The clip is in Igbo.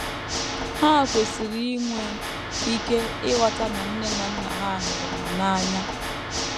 Ha kwesịrị inwe ike ịghọta na nne na nna ha hụrụ ha n’anya.